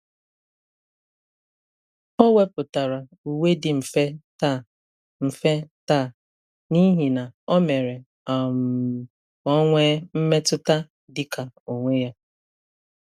O wepụtara uwe dị mfe taa mfe taa n'ihi na o mere um ka ọ nwee mmetụta dị ka onwe ya.